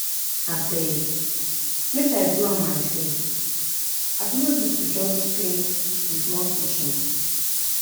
Abeg make I do am myself abi no be to just paint dis small kitchen?